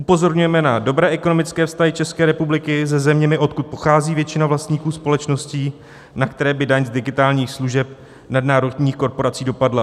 Upozorňujeme na dobré ekonomické vztahy České republiky se zeměmi, odkud pochází většina vlastníků společností, na které by daň z digitálních služeb nadnárodních korporací dopadla.